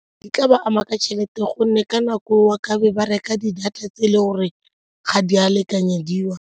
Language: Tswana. Di tla ba ama ka tšhelete gonne ka nako eo tlabe ba reka di-data tse e le gore ga di a lekanyediwa.